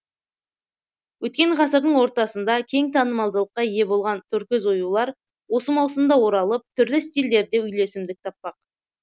өткен ғасырдың ортасында кең танымалдылыққа ие болған торкөз оюлар осы маусымда оралып түрлі стильдерде үйлесімдік таппақ